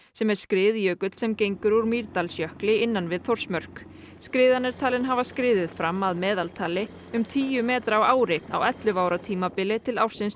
sem er skriðjökull sem gengur úr Mýrdalsjökli innan við Þórsmörk skriðan er talin hafa skriðið fram að meðaltali um tíu metra á ári á ellefu ára tímabili til ársins